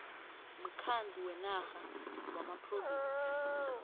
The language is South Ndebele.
mkhandlu wenarha wamaphrovinsi